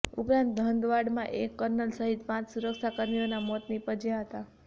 ઉપરાંત હંદવાડામાં એક કર્નલ સહિત પાંચ સુરક્ષા કર્મીઓના મોત નીપજ્યાં હતા